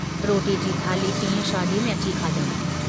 रोटीअ जी थाल्ही टींअं शादीअ में अची खंयमि।